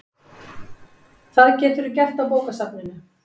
Það geturðu gert á bókasafninu